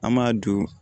An m'a don